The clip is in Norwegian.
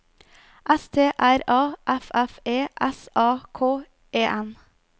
S T R A F F E S A K E N